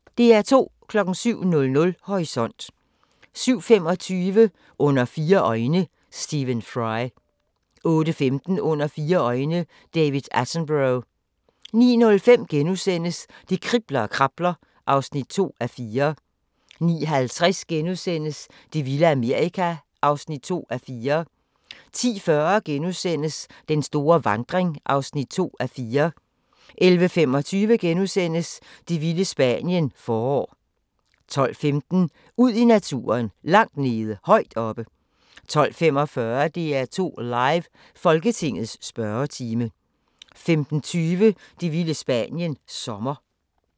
07:00: Horisont 07:25: Under fire øjne – Stephen Fry 08:15: Under fire øjne – David Attenborough 09:05: Det kribler og krabler (2:4)* 09:50: Det vilde Amerika (2:4)* 10:40: Den store vandring (2:4)* 11:25: Det vilde Spanien – forår * 12:15: Ud i naturen: Langt nede, højt oppe 12:45: DR2 Live: Folketingets spørgetime 15:20: Det vilde Spanien – Sommer